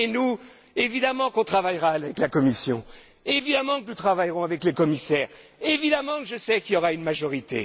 Et nous, évidemment que nous travaillerons avec la Commission, évidemment que nous travaillerons avec les commissaires, évidemment que je sais qu'il y aura une majorité.